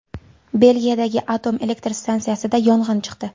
Belgiyadagi atom elektr stansiyasida yong‘in chiqdi.